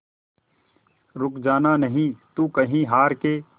रुक जाना नहीं तू कहीं हार के